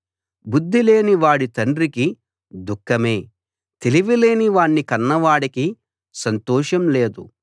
బుద్ధిలేని వాడి తండ్రికి దుఃఖమే తెలివిలేని వాణ్ణి కన్నవాడికి సంతోషం లేదు